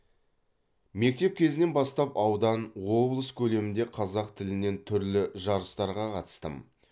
мектеп кезінен бастап аудан облыс көлемінде қазақ тілінен түрлі жарыстарға қатыстым